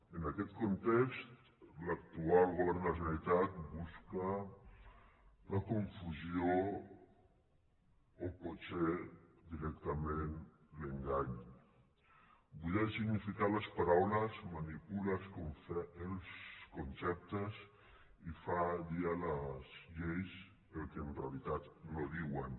en aquest context l’actual govern de la generalitat bus ca la confusió o potser directament l’engany buida de significat les paraules manipula els conceptes i fa dir a les lleis el que en realitat no diuen